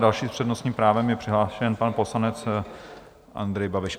Další s přednostním právem je přihlášen pan poslanec Andrej Babiš.